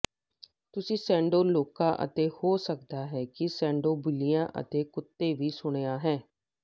ਤੁਸੀਂ ਸ਼ੈਡੋ ਲੋਕਾਂ ਅਤੇ ਹੋ ਸਕਦਾ ਹੈ ਕਿ ਸ਼ੈਡੋ ਬਿੱਲੀਆਂ ਅਤੇ ਕੁੱਤੇ ਵੀ ਸੁਣਿਆ ਹੈ